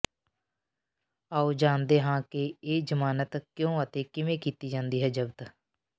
ਆਓ ਜਾਣਦੇ ਹਾਂ ਕਿ ਇਹ ਜ਼ਮਾਨਤ ਕਿਉਂ ਅਤੇ ਕਿਵੇਂ ਕੀਤੀ ਜਾਂਦੀ ਹੈ ਜ਼ਬਤ